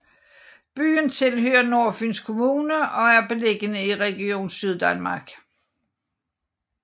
Byen tilhører Nordfyns Kommune og er beliggende i Region Syddanmark